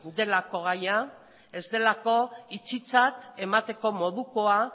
delako gaia ez delako itxitzat emateko modukoa